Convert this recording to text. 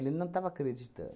Ele não estava acreditando.